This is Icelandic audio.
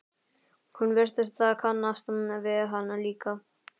Hún virtist kannast við hann líka.